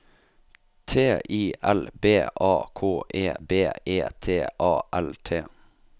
T I L B A K E B E T A L T